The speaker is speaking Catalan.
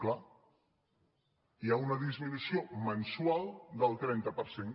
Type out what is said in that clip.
clar hi ha una disminució mensual del trenta per cent